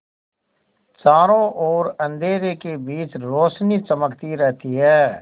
चारों ओर अंधेरे के बीच रौशनी चमकती रहती है